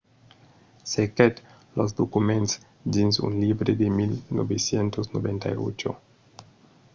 cerquèt los documents dins un libre de 1998